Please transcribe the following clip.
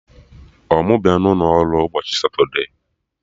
Ọ mụ bịa n'ụlo ọrụ n'ụbọchị Satode?